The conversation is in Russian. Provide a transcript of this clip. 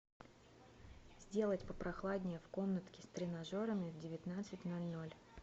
сделать попрохладнее в комнатке с тренажерами в девятнадцать ноль ноль